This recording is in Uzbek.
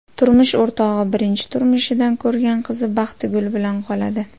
Turmush o‘rtog‘i birinchi turmushidan ko‘rgan qizi Baxtigul bilan qoladi.